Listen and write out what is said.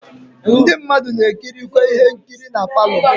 Ndi mmadu na ekirikwe ihe nkiri na parlour.